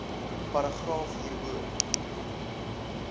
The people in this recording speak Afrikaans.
paragraaf hierbo